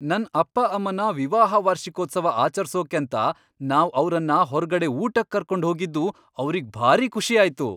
ನನ್ ಅಪ್ಪ ಅಮ್ಮನ ವಿವಾಹ ವಾರ್ಷಿಕೋತ್ಸವ ಆಚರ್ಸೋಕಂತ ನಾವ್ ಅವ್ರನ್ನ ಹೊರ್ಗಡೆ ಊಟಕ್ ಕರ್ಕೊಂಡ್ ಹೋಗಿದ್ದು ಅವ್ರಿಗ್ ಭಾರೀ ಖುಷಿ ಆಯ್ತು.